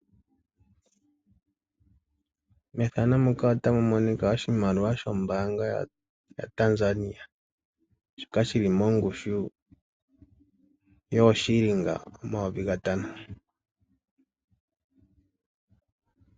Methano muka ota mumonika oshimaliwa shombaanga yaTanzania shoka shili mongushu yooshilinga omayovi gatano.